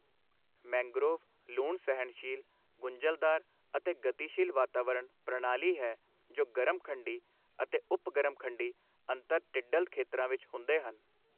Mangrove ਲੂਣ ਸਹਿਣਸ਼ੀਲ, ਗੁੰਝਲਦਾਰ ਅਤੇ ਗਤੀਸ਼ੀਲ ਵਾਤਾਵਰਣ ਪ੍ਰਣਾਲੀ ਹੈ ਜੋ ਗਰਮ ਖੰਡੀ ਅਤੇ ਉੱਪਗਰਮ ਖੰਡੀ ਅੰਤਰ ਟਿਡਲ ਖੇਤਰਾਂ ਵਿੱਚ ਹੁੰਦੇ ਹਨ।